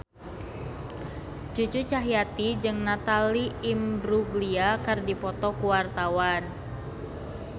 Cucu Cahyati jeung Natalie Imbruglia keur dipoto ku wartawan